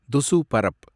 துசு பரப்